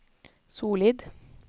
solid